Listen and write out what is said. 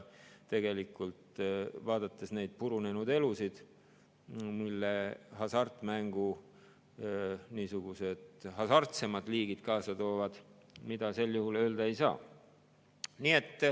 Vaadates neid purunenud elusid, mille hasartmängu niisugused hasartsemad liigid kaasa toovad, seda öelda ei saa.